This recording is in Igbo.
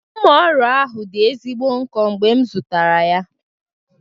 Mma ọrụ ahụ dị ezigbo nkọ mgbe m zụtara ya.